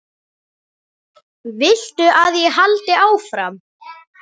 Viltu að ég haldi áfram?